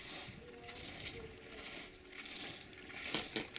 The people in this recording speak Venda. nila yavhui ya u thoma